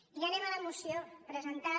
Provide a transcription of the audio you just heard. i ja anem a la moció presentada